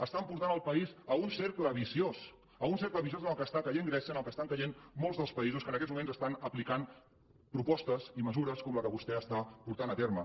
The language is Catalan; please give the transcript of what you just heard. estan portant el país a un cercle viciós a un cercle viciós en el qual està caient grècia en el qual estan caient molts dels països que en aquests moments apliquen propostes i mesures com la que vostè està portant a terme